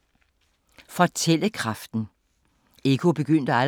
Fortællekraften